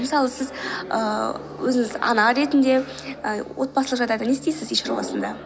мысалы сіз ііі өзіңізді ана ретінде і отбасылық жағдайда не істейсіз үй шаруасында